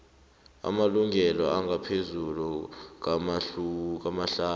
amalanga angaphezulu kamahlanu